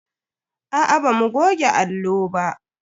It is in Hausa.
Aa bamu goge allo ba.